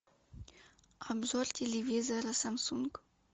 обзор телевизора самсунг